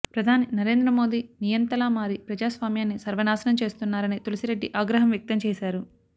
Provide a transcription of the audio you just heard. ప్రధాని నరేంద్రమోదీ నియంతలా మారి ప్రజాస్వామ్యాన్ని సర్వనాశనం చేస్తున్నారని తులసిరెడ్డి ఆగ్రహం వ్యక్తం చేశారు